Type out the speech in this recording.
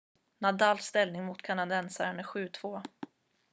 nadals ställning mot kanadensaren är 7-2